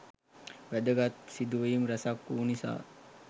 වැදගත් සිදුවීම් රැසක් වූ නිසා